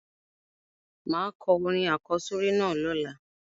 Máà ko orin àkósórí náà lọ́la